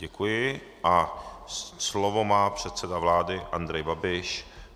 Děkuji a slovo má předseda vlády Andrej Babiš.